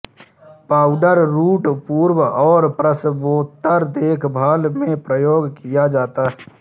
powder root पूर्व और प्रसवोत्तर देखभाल में प्रयोग किया जाता है